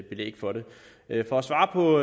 belæg for det for at svare på